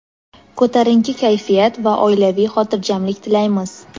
ko‘tarinki kayfiyat va oilaviy xotirjamlik tilaymiz!.